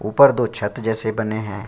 ऊपर दो छत जैसे बने हैं।